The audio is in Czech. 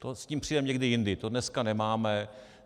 S tím přijdeme někdy jindy, to dneska nemáme.